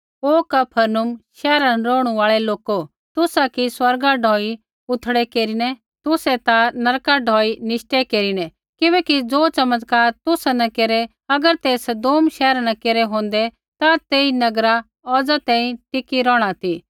हे कफरनहूम शैहरा न रौहणु आल़ै लोको तुसा कि स्वर्गा ढौई उथड़ै केरिना तू ता नरका ढौई निश्टै केरिना किबैकि ज़ो चमत्कार तौ न केरै अगर ते सदोम शैहरा न केरै होंदै ता तेई नगरा औज़ा तैंईंयैं टिकी रौहणा ती